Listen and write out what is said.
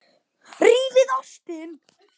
Rífið ostinn.